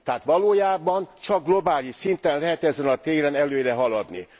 Tehát valójában csak globális szinten lehet ezen a téren előre haladni.